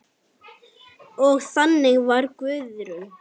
Og þannig var Guðrún.